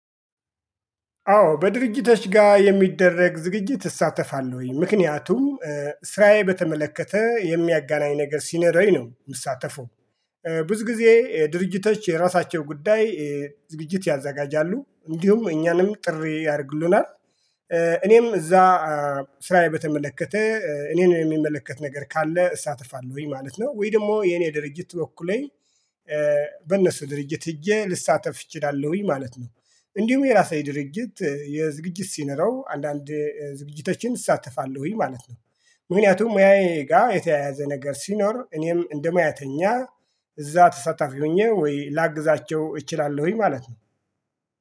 አዎ በድርጅቶች ጋር የሚደረግ ዝግጅት እሳተፋለሁኝ ምክንያቱም ስራዬ በተመለከተ የሚያገናኝ ነገር ሲነረኝ ነው ምሳተፈው። ብዙ ጊዜ ድርጅቶች የራሳቸው ጉዳይ ዝግጅት ያዘጋጃሉ እንዲሁም እኛንም ጥሪ ያርጉልናል። እኔም እዛ ስራዬ በተመለከተ እኔን የሚመለከት ነገር ካለ እሳተፋለሁኝ ማለት ነው። ወይ ደግሞ የኔ ድርጅት ወክሌ በእነሱ ድርጅት ሂጀ ልሳተፍ እችላለሁኝ ማለት ነው። እንዲሁም የራሴ ድርጅት የዝግጅት ሲኖረው አንዳንድ ዝግጅቶችን እሳተፋለሁኝ ማለት ነው። ምክንያቱም ሙያዬ ጋር የተያያዘ ነገር ሲኖር እኔም እንደ ሙያተኛ እዛ ተሳታፊ ሁኝ ላግዛቸው እችላለሁኝ ማለት ነው